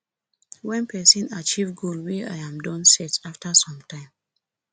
when person achieve goal wey im don set after some time